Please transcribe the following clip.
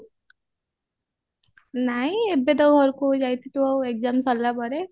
ନାଇଁ ଏବେ ତ ଘରକୁ ଯାଇଥିଲୁ ଏଇ exam ସାରିଲା ପରେ